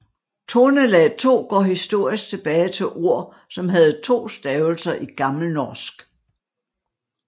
Tonelag 2 går historisk tilbage til ord som havde to stavelser i gammelnorsk